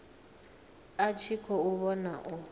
a tshi khou vhona u